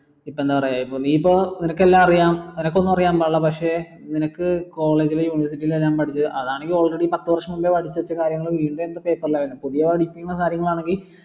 ഇപ്പൊ എന്താ പറയാ നീയിപ്പം നിനക്കെല്ലാം അറിയാം നിനക്കൊന്നും അറിയാൻ പാടില്ല പക്ഷേ നിനക്കു college ൽ university ൽ എല്ലാം പഠിച്ച് അതാണേൽ already പത്ത് വർഷം മുമ്പേ പഠിച്ച് വെച്ച കാര്യങ്ങൾ പുതിയ പഠിക്കുന്ന കാര്യങ്ങളാണെങ്കി